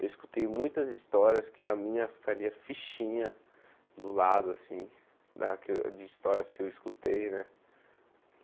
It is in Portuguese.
Eu escutei muitas histórias que a minha ficaria fichinha do lado, assim, daque de histórias que eu escutei, né?